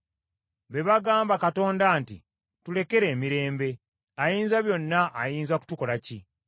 Be bagamba Katonda nti, ‘Tulekere emirembe! Ayinzabyonna ayinza kutukola ki?’